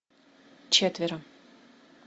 четверо